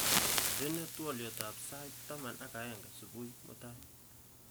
Indenee twoliotab sait taman ak aeng subui mutai